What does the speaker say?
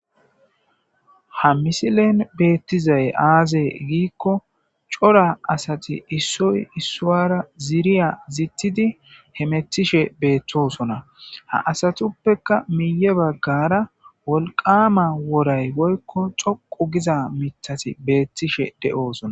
Ha misilen beettizay aaze giikko cora asati issoy issuwara ziiriya zittidi he metishe beettosona ha asatuppekka miye baggara wolqama woray goykko xoqu giza mitati beettishe de'oosona.